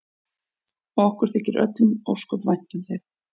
Og okkur þykir öllum ósköp vænt um þig.